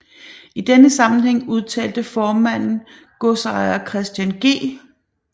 I denne sammenhæng udtalte formanden godsejer Christian G